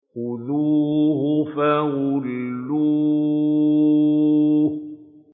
خُذُوهُ فَغُلُّوهُ